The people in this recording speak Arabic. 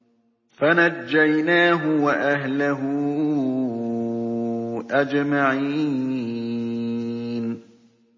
فَنَجَّيْنَاهُ وَأَهْلَهُ أَجْمَعِينَ